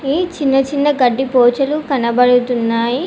ఈ చిన్న చిన్న గడ్డి పోచలు కనబడతున్నాయి.